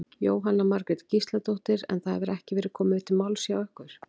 Jóhanna Margrét Gísladóttir: En það hefur ekki verið komið til máls við ykkur?